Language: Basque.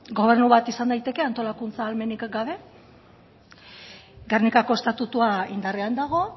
gobernu bat izan daiteke antolakuntza ahalmenik gabe gernikako estatutua indarrean dago